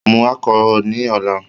Mu alchol ni ọla